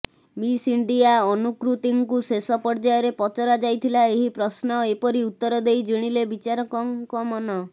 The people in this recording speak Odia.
ମିସ୍ ଇଣ୍ଡିଆ ଅନୁକୃତୀଙ୍କୁ ଶେଷ ପର୍ଯ୍ୟାୟରେ ପଚରା ଯାଇଥିଲା ଏହି ପ୍ରଶ୍ନ ଏପରି ଉତ୍ତର ଦେଇ ଜିଣିଲେ ବିଚାରକଙ୍କ ମନ